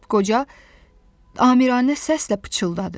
Qoca amiranə səslə pıçıldadı.